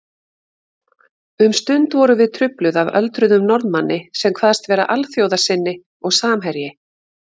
Um stund vorum við trufluð af öldruðum Norðmanni sem kvaðst vera alþjóðasinni og samherji